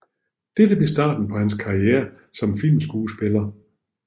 Dette blev starten på hans karriere som filmskuespiller